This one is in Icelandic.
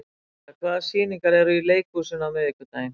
Peta, hvaða sýningar eru í leikhúsinu á miðvikudaginn?